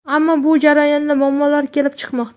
Ammo bu jarayonda muammolar kelib chiqmoqda.